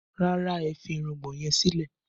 Rárá, ẹ fi irùngbọ̀n yẹn sílẹ̀